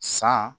San